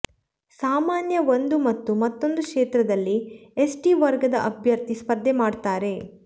ಸಾಮಾನ್ಯ ಒಂದು ಮತ್ತು ಮತ್ತೊಂದು ಕ್ಷೇತ್ರದಲ್ಲಿ ಎಸ್ಟಿ ವರ್ಗದ ಅಭ್ಯರ್ಥಿ ಸ್ಪರ್ಧೆ ಮಾಡ್ತಾರೆ